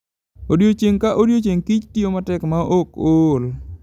Odiechieng' ka odiechieng', kich tiyo matek maok ool.